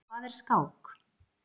Hvað er skák?